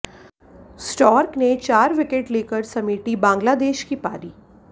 stork ने चार wicket लेकर समेटी बांग्लादेश की पारी